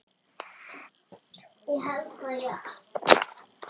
Svo lét ég vaða.